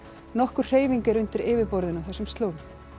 nokkur hreyfing er undir yfirborðinu á þessum slóðum